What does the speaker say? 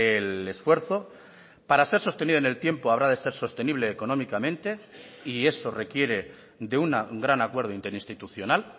el esfuerzo para ser sostenido en el tiempo habrá de ser sostenible económicamente y eso requiere de un gran acuerdo interinstitucional